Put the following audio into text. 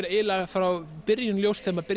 eiginlega frá byrjun ljóst þegar